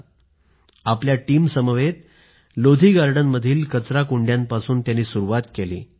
त्यांनी आपल्या टीमसमवेत लोधी गार्डनमधील कचराकुंड्यांपासून सुरूवात केली